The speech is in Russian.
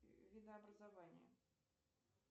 видообразование